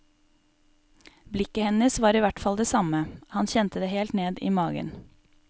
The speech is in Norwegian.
Blikket hennes var i hvert fall det samme, han kjente det helt ned i magen.